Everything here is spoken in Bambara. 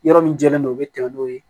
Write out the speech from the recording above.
Yɔrɔ min jɛlen don u bɛ tɛmɛ n'o ye